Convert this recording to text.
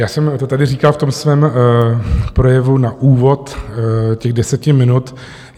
Já jsem to tady říkal v tom svém projevu na úvod těch deseti minut.